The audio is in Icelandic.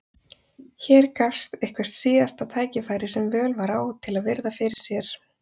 Hér gafst eitthvert síðasta tækifæri sem völ var á til að virða fyrir sér